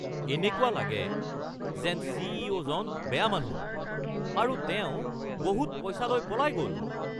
এনেকুৱা লাগে যেন চি.ই.অ'.জন বেয়া মানুহ আৰু তেওঁ বহুত পইচা লৈ পলাই গ'ল (বন্ধু ২)